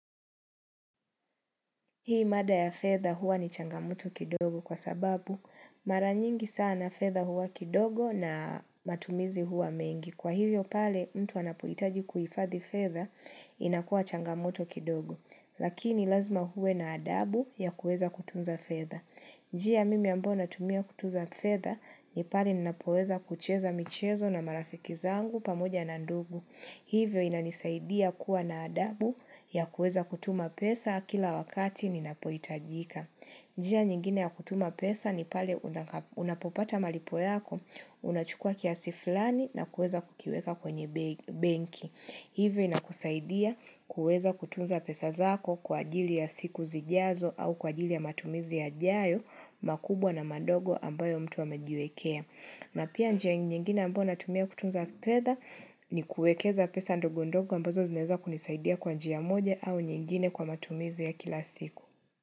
Hii mada ya fedha huwa ni changamoto kidogo kwa sababu maranyingi sana fedha huwa kidogo na matumizi huwa mengi. Kwa hivyo pale mtu anapohitaji kuifadhi fedha inakuwa changamoto kidogo. Lakini lazima huwe na adhabu ya kueza kutunza fedha. Njia mimi ambayo natumia kutunza fedha ni pale ninapoweza kucheza michezo na marafiki zangu pamoja na ndugu. Hivyo inanisaidia kuwa na adabu ya kueza kutuma pesa kila wakati ninapoitajika. Njia nyingine ya kutuma pesa ni pale unapopata malipo yako, unachukua kiasi flani na kueza kukiweka kwenye benki. Hivyo ina kusaidia kueza kutunza pesa zako kwa ajili ya siku zijazo au kwa ajili ya matumizi yajayo, makubwa na madogo ambayo mtu wamejiwekea. Na pia njia nyingine ambayo natumia kutunza fedha ni kuekeza pesa ndogo ndogo ambazo zineza kunisaidia kwa njia moja au nyingine kwa matumizi ya kila siku.